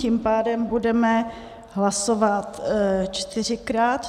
Tím pádem budeme hlasovat čtyřikrát.